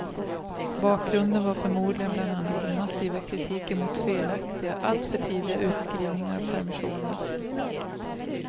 Bakgrunden var förmodligen bland annat den massiva kritiken mot felaktiga, allt för tidiga, utskrivningar och permissioner.